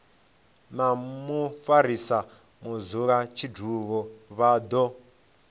na mufarisa mudzulatshidulo vha do